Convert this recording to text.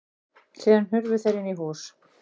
Síðan hurfu þeir inn í hús.